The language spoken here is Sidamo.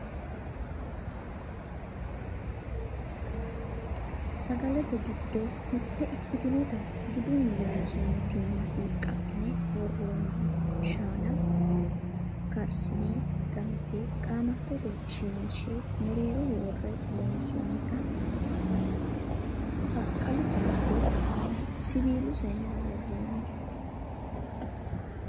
sagalete giddo mitte ikkitinota gidunni loonsoonni timma hiiqqaqqine wahenna shaana karsine ganfe qaamattote shiwinshe mereeroho worre loonsoonnita baqqalu xarapheezzi aana siwiilu sayiinera worroonni